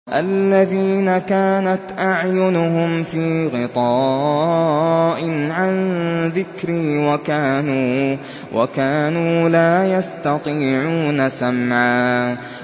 الَّذِينَ كَانَتْ أَعْيُنُهُمْ فِي غِطَاءٍ عَن ذِكْرِي وَكَانُوا لَا يَسْتَطِيعُونَ سَمْعًا